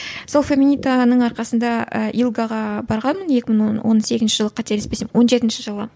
сол феминитаның арқасында і илгаға барғанмын екі мың он он сегізінші жылы қателеспесем он жетінші жылы